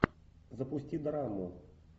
запусти драму